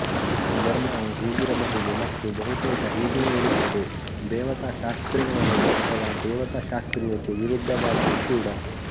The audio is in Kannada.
ಧರ್ಮವು ಹೀಗಿರಬಹುದು ಮತ್ತು ಬಹುತೇಕ ಹೀಗೆಯೇ ಇರುತ್ತದೆ ದೇವತಾಶಾಸ್ತ್ರೀಯವಲ್ಲದ್ದು ಅಥವಾ ದೇವತಾಶಾಸ್ತ್ರೀಯಕ್ಕೆ ವಿರುದ್ಧವಾದ್ದೂ ಕೂಡ